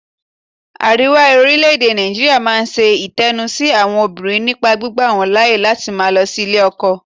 Àríwá orílẹ̀-èdè Nàìjíríà máa ń ṣe ẹ̀tanú sí àwọn obìnrin nípa gbígba wọ́n láyè láti má lọ sí ilé ẹ̀kọ́